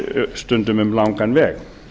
stundum um langan veg